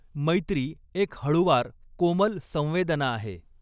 मैत्री एक हळुवार कोमल संवेदना आहे.